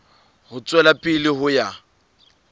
ho tswela pele ho ya